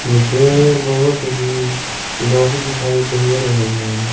मुझे बहोत ही लोग दिखाई दे रहे हैं।